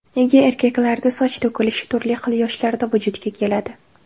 Nega erkaklarda soch to‘kilishi turli xil yoshlarda vujudga keladi?